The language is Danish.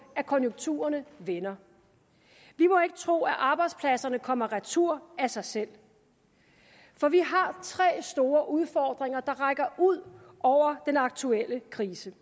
at konjunkturerne vender vi må ikke tro at arbejdspladserne kommer retur af sig selv for vi har tre store udfordringer der rækker ud over den aktuelle krise